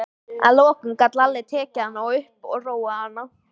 Að lokum gat Lalli tekið hana upp og róað hana.